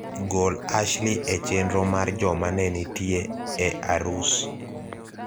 gol Ashley e chenro mar joma nenitie e arus